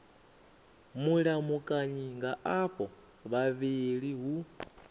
mulamukanyi nga avho vhavhili hu